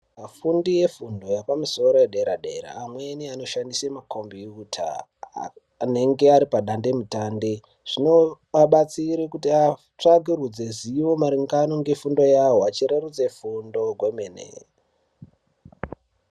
Vafundi yefundo yepamusoro yepaderadera ,amweni vanoshandise makombiyuta anenge ari padande mutande zvinovabatsire kuti vatsvakiridze zivo maringano ngefundo yavo, vachirerutse fundo kwemene.